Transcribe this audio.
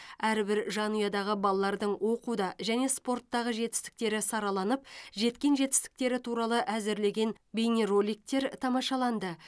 әрбір жанұядағы балалардың оқуда және спорттағы жетістіктері сараланып жеткен жетістіктері туралы әзірлеген бейнероликтер тамашаланды